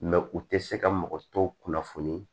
u tɛ se ka mɔgɔ tɔw kunnafoni